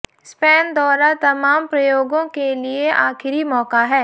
Spain दौरा तमाम प्रयोगों के लिए आखिरी मौका है